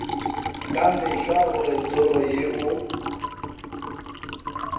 ka mehla gore toro yeo